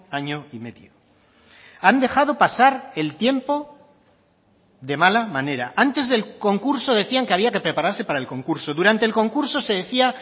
año y medio han dejado pasar el tiempo de mala manera antes del concurso decían que había que prepararse para el concurso durante el concurso se decía